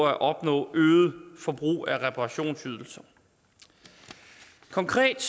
at opnå øget forbrug af reparationsydelser konkret